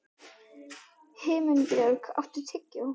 Himinbjörg, áttu tyggjó?